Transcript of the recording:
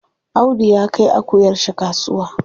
Audu ya kai akuyar shi kasuwa.